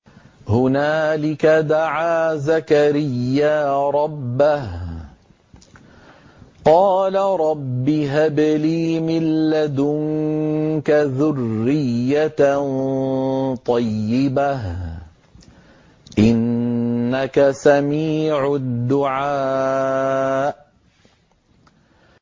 هُنَالِكَ دَعَا زَكَرِيَّا رَبَّهُ ۖ قَالَ رَبِّ هَبْ لِي مِن لَّدُنكَ ذُرِّيَّةً طَيِّبَةً ۖ إِنَّكَ سَمِيعُ الدُّعَاءِ